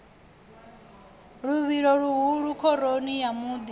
luvhilo luhulu khoroni ya muḓi